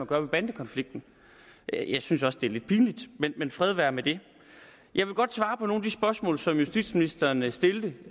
gøre ved bandekonflikten jeg synes også det er lidt pinligt men fred være med det jeg vil godt svare på nogle af de spørgsmål som justitsministeren stillede